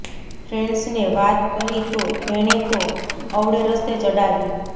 ફ્રેન્ડ્સને વાત કરી તો એણે તો અવળે રસ્તે ચડાવી